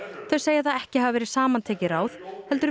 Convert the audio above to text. þau segja það ekki hafa verið samantekin ráð heldur